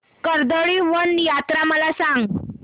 कर्दळीवन यात्रा मला सांग